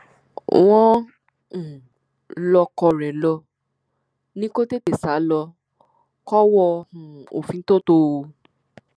wọn um lọkọ rẹ ló ní kó tètè sá lọ kọwọ um òfin tóo tò ó